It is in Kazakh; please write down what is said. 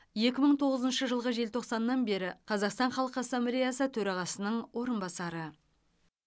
екі мың тоғызыншы жылғы желтоқсаннан бері қазақстан халқы ассамблеясы төрағасының орынбасары